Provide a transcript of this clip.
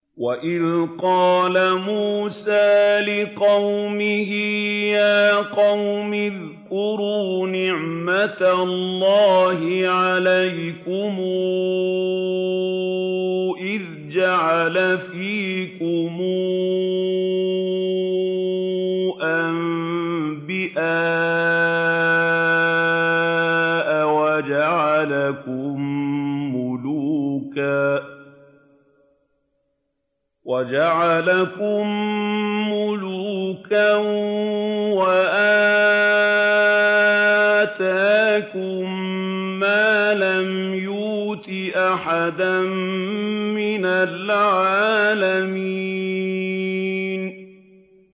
وَإِذْ قَالَ مُوسَىٰ لِقَوْمِهِ يَا قَوْمِ اذْكُرُوا نِعْمَةَ اللَّهِ عَلَيْكُمْ إِذْ جَعَلَ فِيكُمْ أَنبِيَاءَ وَجَعَلَكُم مُّلُوكًا وَآتَاكُم مَّا لَمْ يُؤْتِ أَحَدًا مِّنَ الْعَالَمِينَ